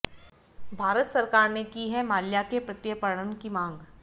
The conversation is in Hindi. भारत सरकार ने की है माल्या के प्रत्यर्पण की मांग